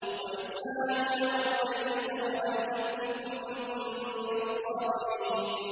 وَإِسْمَاعِيلَ وَإِدْرِيسَ وَذَا الْكِفْلِ ۖ كُلٌّ مِّنَ الصَّابِرِينَ